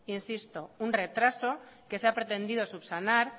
insisto un retraso que se ha pretendido subsanar